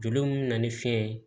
Joli mun be na ni fiɲɛ ye